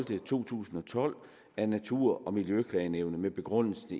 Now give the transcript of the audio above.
to tusind og tolv af natur og miljøklagenævnet med begrundelsen